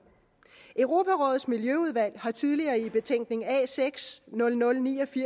europarådets miljøudvalg har tidligere i betænkning a6 nul nul